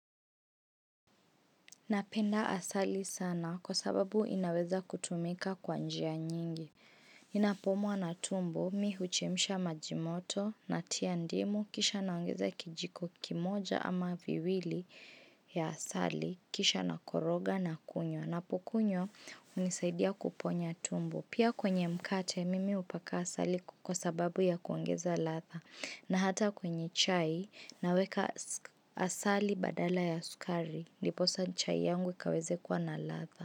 Napenda asali sana kwa sababu inaweza kutumika kwa njia nyingi. Ninapoumwa na tumbo mi huchemsha maji moto natia ndimu kisha naongeza kijiko kimoja ama viwili ya asali kisha nakoroga na kunywa napokunywa hunisaidia kuponya tumbo. Pia kwenye mkate mimi hupaka asali kwa sababu ya kuongeza latha na hata kwenye chai naweka asali badala ya sukari ndiposa chai yangu kaweze kuwa na latha.